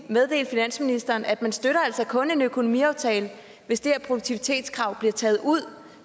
meddele finansministeren at man altså kun støtter en økonomiaftale hvis det her produktivitetskrav bliver taget ud